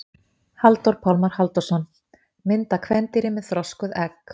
Halldór Pálmar Halldórsson: Mynd af kvendýri með þroskuð egg.